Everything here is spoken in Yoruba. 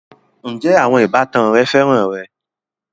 Ǹjẹ́ àwọn ìbátan rẹ féràn rẹ?